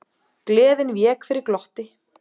Gleðin vék fyrir glotti.